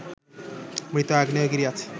মৃত আগ্নেয়গিরি আছে